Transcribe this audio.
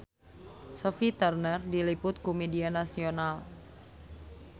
Sophie Turner diliput ku media nasional